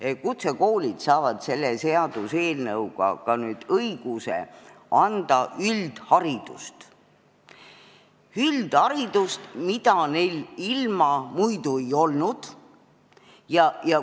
Nimelt, kutsekoolid saavad selle seaduseelnõuga õiguse anda üldharidust, mida neil muidu ei olnud.